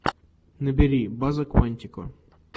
набери база куантико